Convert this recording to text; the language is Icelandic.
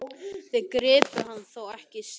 Þeir gripu hann þó ekki syðra?